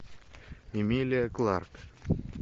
эмилия кларк